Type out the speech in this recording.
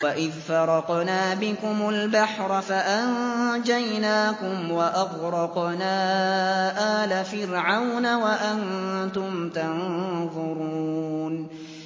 وَإِذْ فَرَقْنَا بِكُمُ الْبَحْرَ فَأَنجَيْنَاكُمْ وَأَغْرَقْنَا آلَ فِرْعَوْنَ وَأَنتُمْ تَنظُرُونَ